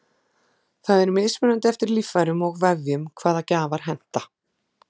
það er mismunandi eftir líffærum og vefjum hvaða gjafar henta